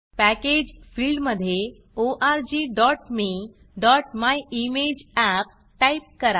package package फिल्डमधे orgmeमायिमेजअप type करा